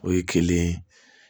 O ye kelen ye